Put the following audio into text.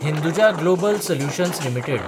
Hinduja global solutions limited